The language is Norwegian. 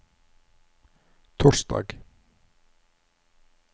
torsdag